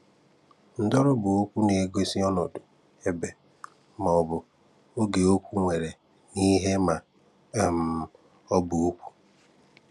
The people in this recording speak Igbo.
Ndọ̀rí bụ okwu na-egosi ọnọdụ, ebe, ma ọ̀ bụ oge okwu nwere na ihe ma um ọ bụ okwu.